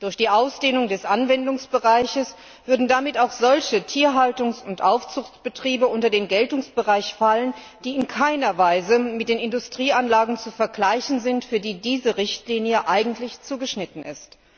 Durch die Ausdehnung des Anwendungsbereichs würden damit auch solche Tierhaltungs und Aufzuchtbetriebe unter den Geltungsbereich fallen, die in keiner Weise mit den Industrieanlagen zu vergleichen sind, auf die diese Richtlinie eigentlich zugeschnitten ist.